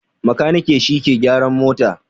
Makaniki shi ke gyaran mota